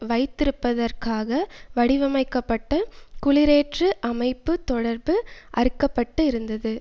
வைத்திருப்பதற்காக வடிவமைக்கப்பட்ட குளிரேற்று அமைப்பு தொடர்பு அறுக்கப்பட்டு இருந்தது